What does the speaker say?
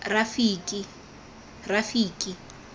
rafiki